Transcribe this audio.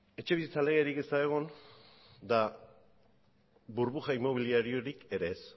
etxebizitza legerik ez da egon eta burbuja inmobiliariorik ere ez